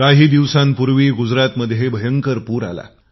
काही दिवसांपूर्वी गुजरातमध्ये भयंकर पूर आला